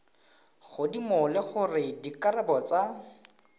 godimo le gore dikarabo tsa